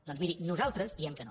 doncs mirin nosaltres diem que no